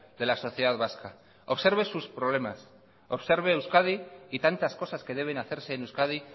de la sociedad vasca observe sus problemas observe euskadi y tantas cosas que deben hacerse en euskadi